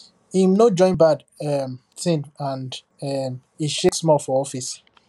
him no join bad um thing and um e shake small for office